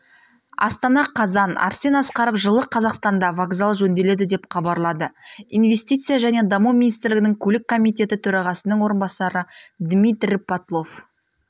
астана қазан арсен асқаров жылы қазақстанда вокзал жөнделеді деп хабарлады инвестиция және даму министрлігінің көлік комитеті төрағасының орынбасары дмитрий потлов